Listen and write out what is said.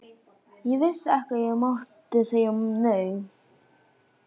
Ég vissi ekki að ég mátti segja nei.